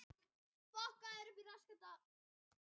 Til dæmis mætti svipta það rétti til auglýsinga.